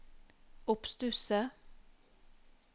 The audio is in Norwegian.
oppstusset